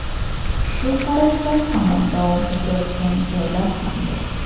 Shu qarashlar hamon davom etayotgan joylar ham bor.